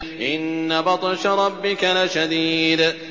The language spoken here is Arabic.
إِنَّ بَطْشَ رَبِّكَ لَشَدِيدٌ